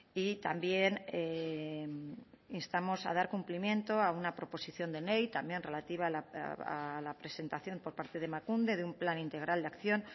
y también instamos a dar cumplimiento a una proposición de ley también relativa a la presentación por parte de emakunde de un plan integral de acción